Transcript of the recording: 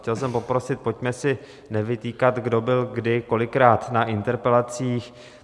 Chtěl jsem poprosit, pojďme si nevytýkat, kdo byl kdy kolikrát na interpelacích.